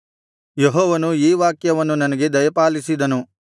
ಯೆಹೋವನು ಈ ವಾಕ್ಯವನ್ನು ನನಗೆ ದಯಪಾಲಿಸಿದನು